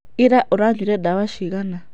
Ira oranyuire ndawa cigana?.